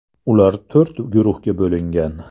Ular to‘rt guruhga bo‘lingan.